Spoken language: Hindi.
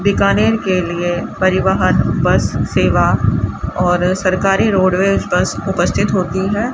बीकानेर के लिए परिवहन बस सेवा और सरकारी रोडवेज बस उपस्थित होती है।